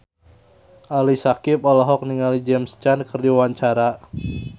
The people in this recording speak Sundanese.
Ali Syakieb olohok ningali James Caan keur diwawancara